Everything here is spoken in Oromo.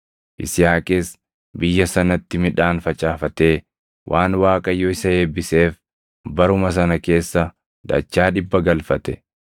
Yisihaaqis biyya sanatti midhaan facaafatee waan Waaqayyo isa eebbiseef baruma sana keessa dachaa dhibba galfate.